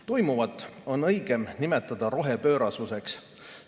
Toimuvat on õigem nimetada rohepöörasuseks.